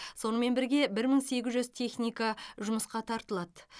сонымен бірге бір мың сегіз жүз техника жұмысқа тартылады